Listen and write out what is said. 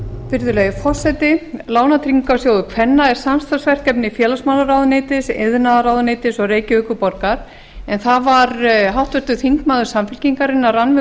virðulegi forseti lánatryggingarsjóður kvenna er samstarfsverkefni félagsmálaráðuneytis iðnaðarráðuneytis og reykjavíkurborgar það var háttvirtur þingmaður samfylkingarinnar rannveig